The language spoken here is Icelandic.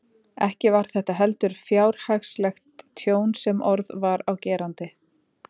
Ekki var þetta heldur fjárhagslegt tjón sem orð var á gerandi.